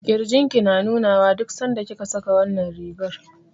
Ƙirjin ki na nuna wa duk sanda kika saka wannan rigar.